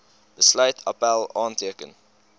besluit appèl aanteken